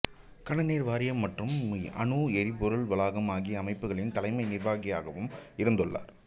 கனநீர் வாரியம் மற்றும் அணு எரிபொருள் வளாகம் ஆகிய அமைப்புகளின் தலைமை நிர்வாகியாகயும் இருந்துள்ளார்